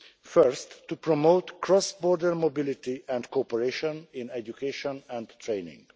Firstly, to promote cross border mobility and cooperation in education and training.